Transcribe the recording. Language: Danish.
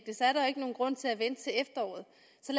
det så er der ikke nogen grund til at vente til efteråret